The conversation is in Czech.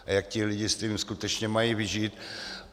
A jak ti lidé s tím skutečně mají vyžít?